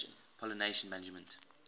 pollination management